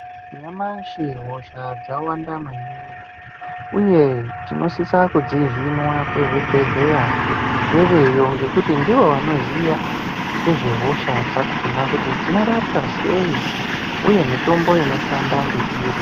Nyamashi hosha dzawanda maningi, uye tinosisa kudzihinwa kuzvibhedhleya ngeveyo. Ngekuti ndivo vanoziya ngezvehosha dzakona kuti dzinorapwa sei, uye mitombo inoshanda ngeiri.